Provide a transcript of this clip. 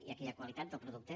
i aquí hi ha qualitat del producte